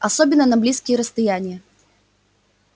особенно на близкие расстояния